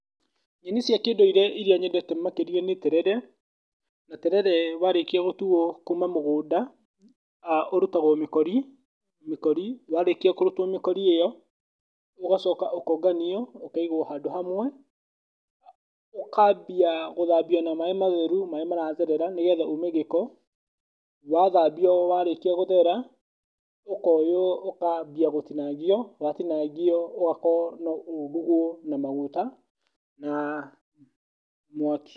Nyeni cia kĩndũire iria nyendete makĩria nĩ terere, na terere warĩkia gũtuo kuma mũgũnda, ah ũrutagwo mĩkorimĩkori ĩyo, ũgacoka ũkonganio ũkaigwo handũ hamwe, ũkambia gũthambio na maaĩ matheru marĩa maratherera nĩgetha uume gĩko, wathambio warĩkia gũthera, ũkoywo ũkambia gũtinangio, watinangio ũgakorwo no ũrugwo na maguta na mwaki.